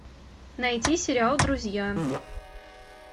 найти сериал друзья